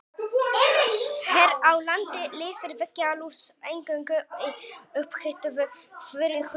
Hér á landi lifir veggjalús eingöngu í upphituðu þurru húsnæði.